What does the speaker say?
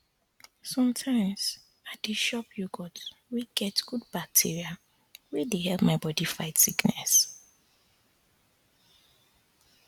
sometimes i dey chop yogurt wey get good bacteria wey dey help my body fight sickness